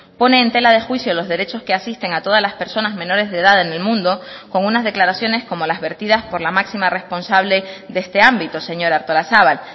pone en tela de juicio los derechos que asisten a todas las personas menores de edad en el mundo con unas declaraciones como las vertidas por la máxima responsable de este ámbito señora artolazabal